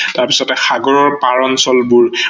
তাৰ পাছতে সাগৰৰ পাৰ অঞ্চলবোৰ